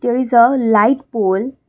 there is uh light pole.